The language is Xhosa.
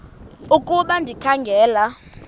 ukuba ndikha ngela